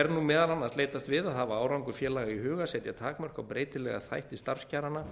er nú meðal annars leitast við að hafa árangur félaga í huga setja takmörk á breytilega þætti starfskjaranna